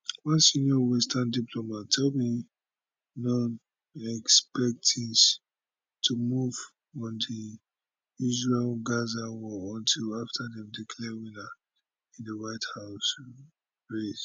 one senior western diplomat tell me noone expect tins to move on the israelgaza war until afta dem declare winner in di white house race